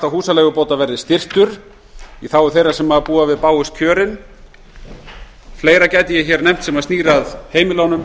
húsaleigubóta verði styrktur í þágu þeirra sem búa við bágust kjörin ég gæti nefnt fleira sem snýr að heimilunum